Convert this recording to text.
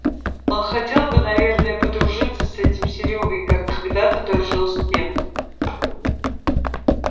он хотел бы наверное подружиться с этим серёгой как когдато дружил с тем